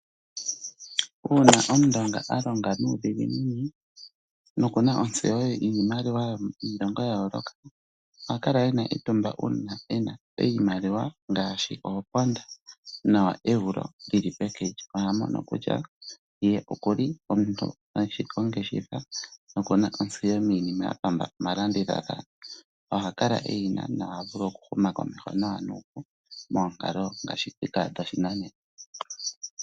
Uuna Omundonga a longa nuudhiginini nokuna ontseyo yiimaliwa yiilongo ya yooloka, oha kala ena etumba uuna ena iimaliwa ngaasho ooponda nooeuro dhili peke lye. Oha mono kutya ye okuli omuntu eshi ongeshefa nokuna ontseyo miinima yapamba omalandilala no ha kala eyina no ha vulu okuhuma komeho nawa nuupu moonkalo ngaashi dhika dhopashinanena.